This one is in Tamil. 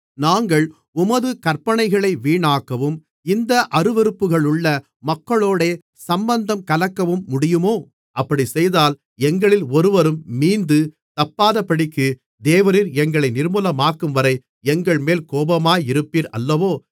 நாங்கள் உமது கற்பனைகளை வீணாக்கவும் இந்த அருவருப்புகளுள்ள மக்களோடே சம்பந்தம் கலக்கவும் முடியுமோ அப்படிச் செய்தால் எங்களில் ஒருவரும் மீந்து தப்பாதபடிக்கு தேவரீர் எங்களை நிர்மூலமாக்கும்வரை எங்கள்மேல் கோபமாயிருப்பீர் அல்லவோ